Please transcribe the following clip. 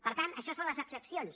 per tant això són les excepcions